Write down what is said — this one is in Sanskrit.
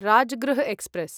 राजगृह एक्स्प्रेस्